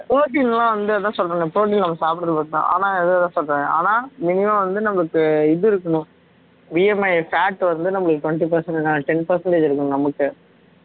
protein லா வந்து அதா சொல்றன்ல protein நம்ம சாப்பிடுறது மட்டும்தான் ஆனால் அதா சொல்றன் ஆனால் minimum வந்து நம்மளுக்கு இது இருக்கணும் BMIfat வந்து நம்மளுக்கு twenty percent ten percentage இருக்கும் நமக்கு